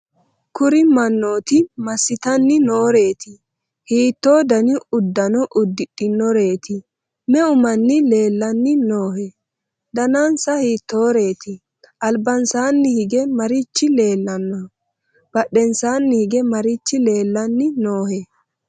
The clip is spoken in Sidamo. kuri mannooti massitanni nooreeti? hiitto dani uddano uddidhinoreeti? me'u manni leellanni noohe? daninsana hiittoreeti? albansaanni hige marichi leellannohe? badhensaanni hige marichi leellanni noohe?